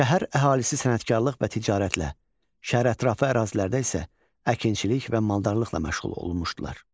Şəhər əhalisi sənətkarlıq və ticarətlə, şəhərətrafı ərazilərdə isə əkinçilik və maldarlıqla məşğul olunmuşdular.